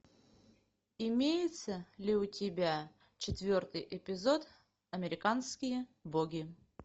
имеется ли у тебя четвертый эпизод американские боги